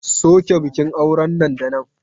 Soke bikin auren nan da nan!